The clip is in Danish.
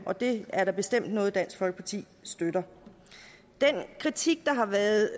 og det er da bestemt noget dansk folkeparti støtter den kritik der har været